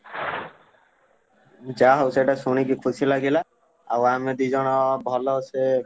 ଯାହାହଉ ସେଇଟା ଶୁଣିକି ଖୁସି ଲାଗିଲା। ଆଉ ଆମେ ଦି ଜଣ ଭଲସେ।